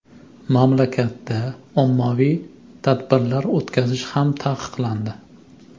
Mamlakatda ommaviy tadbirlar o‘tkazish ham taqiqlandi.